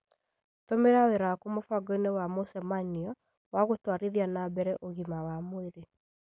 Tũmĩra wĩra waku mũbango-inĩ wa mũcemaniowa gũtwarithia na mbere ũgima wa mwĩrĩ.